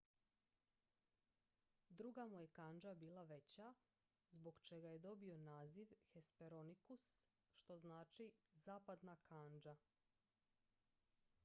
"druga mu je kandža bila veća zbog čega je dobio naziv hesperonychus što znači "zapadna kandža"".